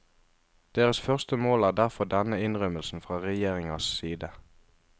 Deres første mål er derfor denne innrømmelsen fra regjeringas side.